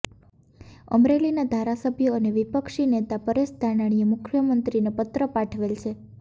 અમરેલીના ધારાસભ્ય અને વિપક્ષીનેતા પરેશ ધાનાણીએ મુખ્યમંત્રીને પત્ર પાઠવેલ છે